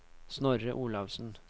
Snorre Olaussen